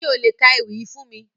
Ṣe o le ka ewi yii fun mi?